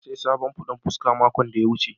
na siya sabon fodan fuska makon da ya wuce.